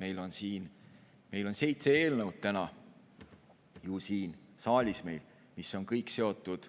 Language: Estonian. Meil on siin saalis täna seitse eelnõu, mis kõik on seotud